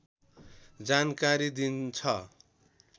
जानकारी दिन्छ